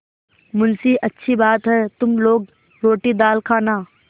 मुंशीअच्छी बात है तुम लोग रोटीदाल खाना